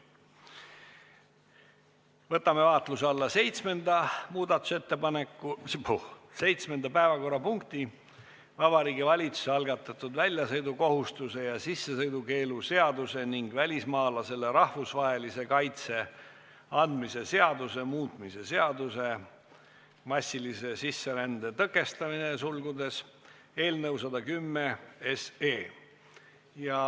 Võtame vaatluse alla seitsmenda päevakorrapunkti: Vabariigi Valitsuse algatatud väljasõidukohustuse ja sissesõidukeelu seaduse ning välismaalasele rahvusvahelise kaitse andmise seaduse muutmise seaduse eelnõu 110.